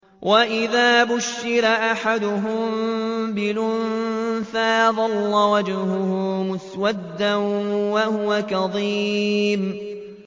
وَإِذَا بُشِّرَ أَحَدُهُم بِالْأُنثَىٰ ظَلَّ وَجْهُهُ مُسْوَدًّا وَهُوَ كَظِيمٌ